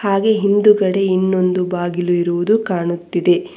ಹಾಗೇ ಹಿಂದುಗಡೆ ಇನ್ನೊಂದು ಬಾಗಿಲು ಇರುವುದು ಕಾಣುತ್ತಿದೆ.